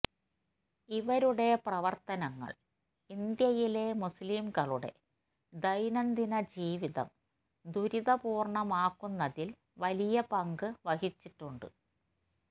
ഇവരുടെ പ്രവര്ത്തനങ്ങള് ഇന്ത്യയിലെ മുസ്ലിംകളുടെ ദൈനംദിന ജീവിതം ദുരിതപൂര്ണമാക്കുന്നതില് വലിയ പങ്ക് വഹിച്ചിട്ടുണ്ട്